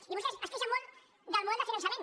i vostès es queixen molt del model de finançament